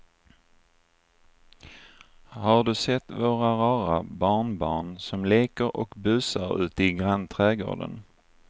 Har du sett våra rara barnbarn som leker och busar ute i grannträdgården!